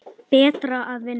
Betra að vinna.